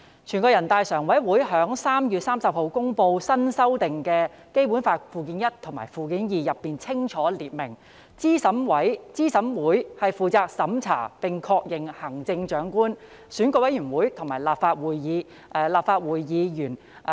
全國人大常委會在3月30日公布新修訂的《基本法》附件一及附件二，當中清楚列明候選人資格審查委員會負責審查並確認行政長官、選舉委員會及立法會議員候選人的資格。